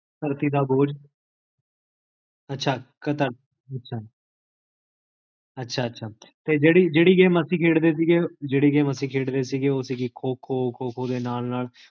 ਧਰਤੀ ਦਾ ਬੋਝ ਅਛਾ ਅਛਾ ਅਛਾ ਅਛਾ ਤੇ ਜੇਹੜੀ ਜੇਹੜੀ game ਅਸੀ ਖੇਡਦੇ ਸੀਗੇ ਜੇਹੜੀ game ਅਸੀ ਖੇਡਦੇ ਸੀਗੇ ਓਹ੍ਹ ਸੀਗੀ ਖੋ ਖੋ, ਖੋ ਖੋ ਦੇ ਨਾਲ ਨਾਲ